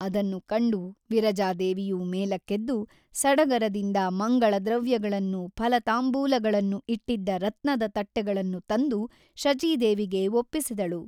ಅದನ್ನು ಕಂಡು ವಿರಜಾದೇವಿಯು ಮೇಲಕ್ಕೆದ್ದು ಸಡಗರದಿಂದ ಮಂಗಳದ್ರವ್ಯಗಳನ್ನೂ ಫಲತಾಂಬೂಲಗಳನ್ನೂ ಇಟ್ಟಿದ್ದ ರತ್ನದ ತಟ್ಟೆಗಳನ್ನು ತಂದು ಶಚಿದೇವಿಗೆ ಒಪ್ಪಿಸಿದಳು.